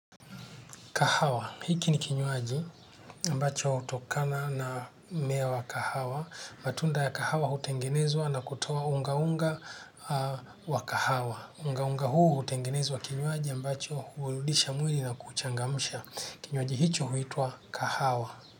Kahawa hhki ni kinywaji ambacho hutokana na mmea wa kahawa. Matunda ya kahawa hutengenezwa na kutoa unga unga wa kahawa. Unga unga huu hutengenezwa kinywaji ambacho hurudisha mwili na kuchangamsha. Kinywaji hicho huitwa kahawa.